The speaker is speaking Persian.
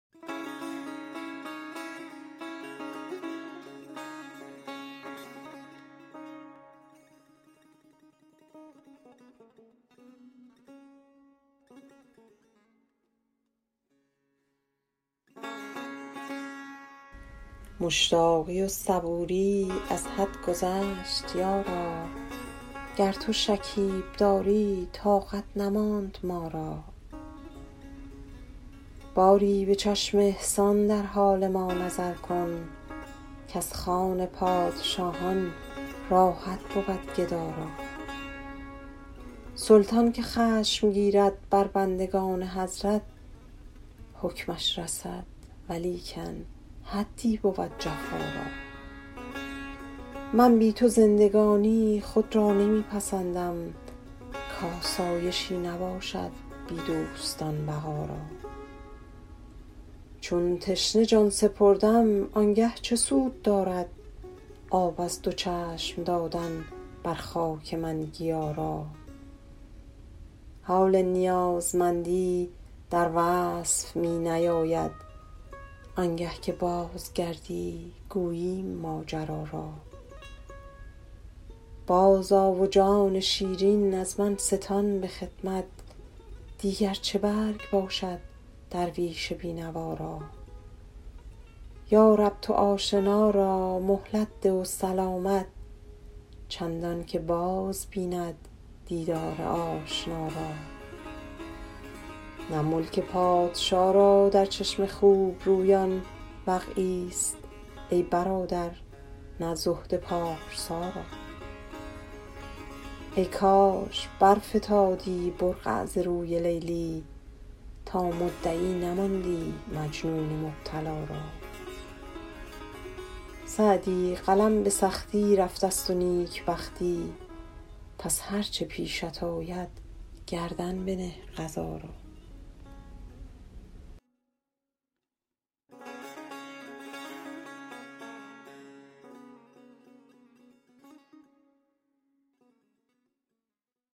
مشتاقی و صبوری از حد گذشت یارا گر تو شکیب داری طاقت نماند ما را باری به چشم احسان در حال ما نظر کن کز خوان پادشاهان راحت بود گدا را سلطان که خشم گیرد بر بندگان حضرت حکمش رسد ولیکن حدی بود جفا را من بی تو زندگانی خود را نمی پسندم کآسایشی نباشد بی دوستان بقا را چون تشنه جان سپردم آن گه چه سود دارد آب از دو چشم دادن بر خاک من گیا را حال نیازمندی در وصف می نیاید آن گه که بازگردی گوییم ماجرا را بازآ و جان شیرین از من ستان به خدمت دیگر چه برگ باشد درویش بی نوا را یا رب تو آشنا را مهلت ده و سلامت چندان که باز بیند دیدار آشنا را نه ملک پادشا را در چشم خوب رویان وقعی ست ای برادر نه زهد پارسا را ای کاش برفتادی برقع ز روی لیلی تا مدعی نماندی مجنون مبتلا را سعدی قلم به سختی رفته ست و نیک بختی پس هر چه پیشت آید گردن بنه قضا را